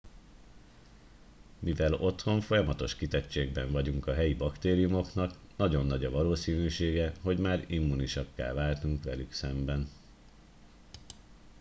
mivel otthon folyamatos kitettségben vagyunk a helyi baktériumoknak nagyon nagy a valószínűsége hogy már immúnisakká váltunk velük szemben